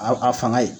A a fanga ye